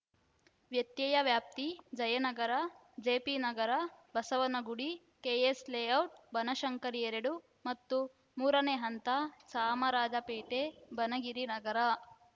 ವ್ಯತ್ಯಯ ವ್ಯಾಪ್ತಿ ಜಯನಗರ ಜೆಪಿನಗರ ಬಸವನಗುಡಿ ಕೆಎಸ್‌ಲೇಔಟ್‌ ಬನಶಂಕರಿ ಎರಡು ಮತ್ತು ಮೂರನೇ ಹಂತ ಚಾಮರಾಜಪೇಟೆ ಬನಗಿರಿ ನಗರ